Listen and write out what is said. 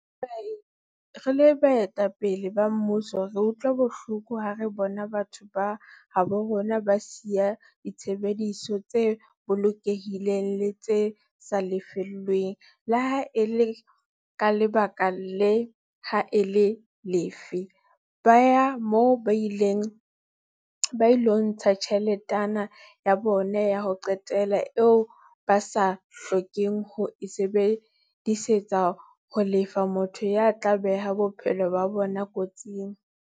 Re le baetapele ba mmuso re utlwa bohloko ha re bona batho ba habo rona ba siya ditshebeletso tse bolokehileng le tse sa lefellweng, le ha e le ka lebaka le ha e le lefe, ba ya moo ba ilo ntsha tjheletana ya bona ya ho qetela eo ba sa hlokeng ho e sebedisetsa ho lefa motho ya tla beha bophelo ba bona kotsing.